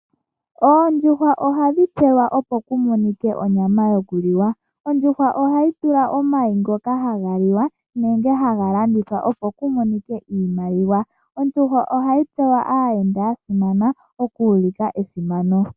Oondjuhwa ohadhi tekulwa opo ku monike onyama yokuliwa. Oondjuhwa ohadhi zi omayi ngoka haga liwa nenge haga landithwa opo ku monike iimaliwa. Ondjuhwa ohayi dhipagelwa aayenda ya simana, oku ulika esimano.